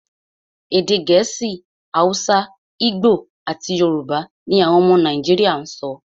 Èdè Gẹ̀ẹ́sì, Hausa, Igbo, àti Yorùbá ní àwọn ọmọ Nàìjíríà sọ.